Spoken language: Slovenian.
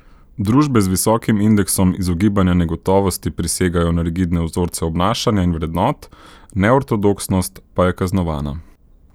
Družbe z visokim indeksom izogibanja negotovosti prisegajo na rigidne vzorce obnašanja in vrednot, neortodoksnost pa je kaznovana.